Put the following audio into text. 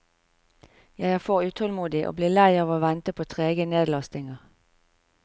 Jeg er for utålmodig, og blir lei av å vente på trege nedlastinger.